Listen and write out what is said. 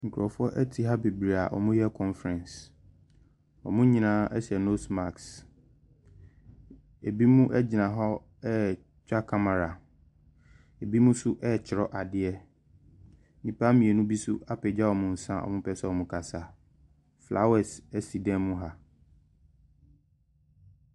Nkurofoɔ ɛte ha bebree a ɔmo yɛ kɔnferɛns. Ɔmo nyinaa ɛhyɛ nos maks. Ebinom egyina hɔ etwa kamara. Ebinom nso ɛtwerɛ adeɛ. Nnipa mmienu bi nso apagya wɔn nsa a ɔmo pɛ sɛ ɔmo kasa. Flawɛs esi dan mu ha.